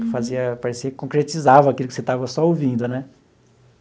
Que fazia, parecia que concretizava aquilo que você estava só ouvindo, né?